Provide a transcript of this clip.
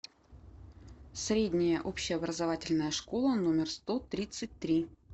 средняя общеобразовательная школа номер сто тридцать три